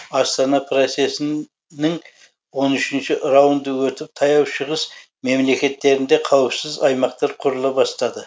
астана процесі нің он үшінші раунды өтіп таяу шығыс мемлекеттерінде қауіпсіз аймақтар құрыла бастады